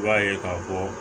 I b'a ye k'a fɔ